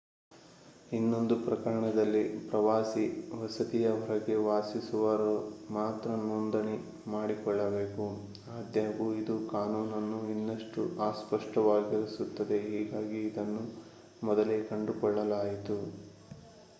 ಇನ್ನೊಂದು ಪ್ರಕರಣದಲ್ಲಿ ಪ್ರವಾಸಿ ವಸತಿಯ ಹೊರಗೆ ವಾಸಿಸುವವರು ಮಾತ್ರ ನೋಂದಣಿ ಮಾಡಿಕೊಳ್ಳಬೇಕು ಆದಾಗ್ಯೂ ಇದು ಕಾನೂನನ್ನು ಇನ್ನಷ್ಟು ಅಸ್ಪಷ್ಟವಾಗಿಸುತ್ತದೆ ಹೀಗಾಗಿ ಇದನ್ನು ಮೊದಲೇ ಕಂಡುಕೊಳ್ಳಲಾಯಿತು